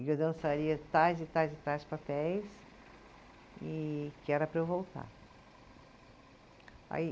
E que eu dançaria tais e tais, e tais papéis e que era para eu voltar. Aí